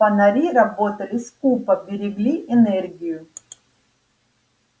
фонари работали скупо берегли энергию